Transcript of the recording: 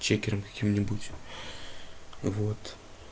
чекером каким нибудь вот